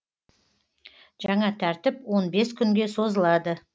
жаңа тәртіп он бес күнге созылады